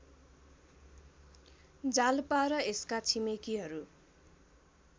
जालपा र यसका छिमेकीहरू